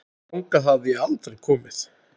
Þangað hafði ég aldrei komið.